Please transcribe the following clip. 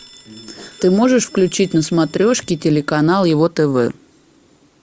ты можешь включить на смотрешке телеканал его тв